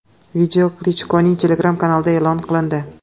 Video Klichkoning Telegram kanalida e’lon qilindi.